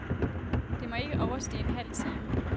Det må ikke overstige en halv time.